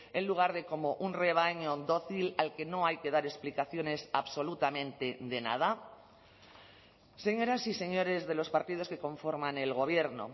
en lugar de como un rebaño dócil al que no hay que dar explicaciones absolutamente de nada señoras y señores de los partidos que conforman el gobierno